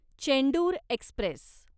Chendur Express